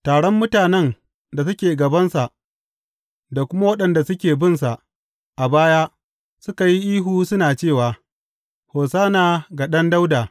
Taron mutanen da suke gabansa da kuma waɗanda suke binsa a baya suka yi ihu suna cewa, Hosanna ga Ɗan Dawuda!